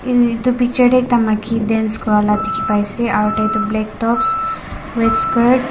etu picture te ekta maiki dance kora laga dekhi pai se aru tai tu black tops white skirt.